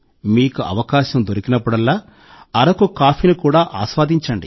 మీకు అవకాశం దొరికినప్పుడల్లా అరకు కాఫీని కూడా ఆస్వాదించండి